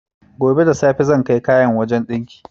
Gobe da safe zan kai kayana wajan ɗinki